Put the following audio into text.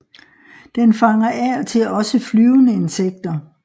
Den fanger af og til også flyvende insekter